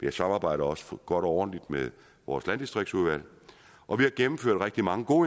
et samarbejde også godt og ordentligt med vores landdistriktsudvalg og vi har gennemført rigtig mange gode